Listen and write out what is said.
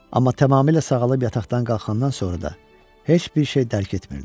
Amma tamamilə sağalıb yataqdan qalxandan sonra da heç bir şey dərk etmirdim.